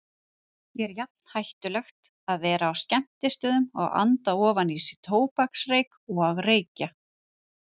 Er jafn hættulegt að vera á skemmtistöðum og anda ofan í sig tóbaksreyk og reykja?